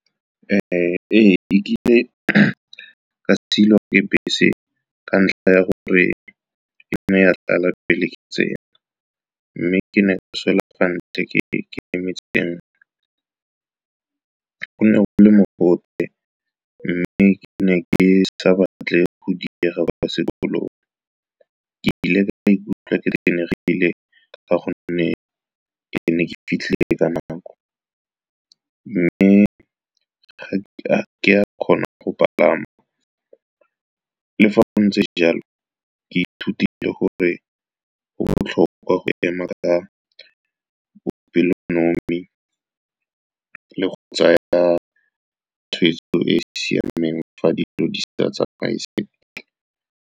Ee, nkile ka siwa ke bese ka ntlha ya gore ke nngwe ya tlala pele ke tsena, mme ke ne ka sala kwa ntle ke emetse e nngwe. Go ne go le mogote mme ke ne ke sa batle go diega kwa sekolong. Ke ile ka ikutlwa ke tenegile ka gonne ke ne ke fitlhile ka nako mme ga ke a kgona go palama. Le fa go ntse jalo, ke ithutile gore go botlhokwa go ema ka bopelonomi le go tsaya tshweetso e e siameng fa dilo di sa tsamaye sentle.